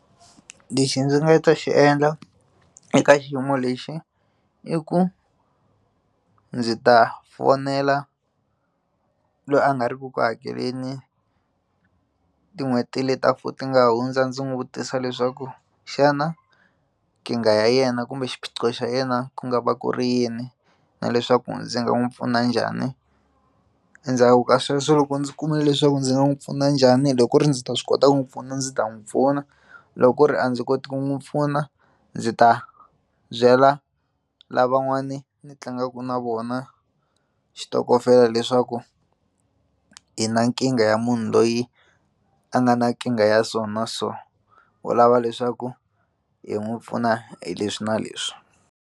Lexi ndzi nga ta xi endla eka xiyimo lexi i ku ndzi ta fonela loyi a nga ri ku ku hakeleni tin'hweti leti ta ti nga hundza ndzi n'wi vutisa leswaku xana kingha ya yena kumbe xiphiqo xa yena ku nga va ku ri yini na leswaku ndzi nga n'wi pfuna njhani endzhaku ka sweswo loko ndzi kumile leswaku ndzi nga n'wi pfuna njhani loko ku ri ndzi ta swi kota ku n'wi pfuna ndzi ta n'wi pfuna loko ku ri a ndzi koti ku n'wi pfuna ndzi ta byela lavan'wani ni tlangaka na vona xitokofela leswaku hi na nkingha ya munhu loyi a nga na nkingha ya so na so u lava leswaku hi n'wi pfuna hi leswi na leswi.